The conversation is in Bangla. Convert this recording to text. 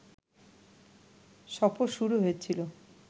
সফর শুরু হয়েছিল